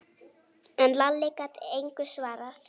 En Lalli gat engu svarað.